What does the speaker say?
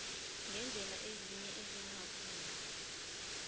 ngeendlela ezinye ezingavunywa